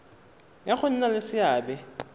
ya go nna le seabe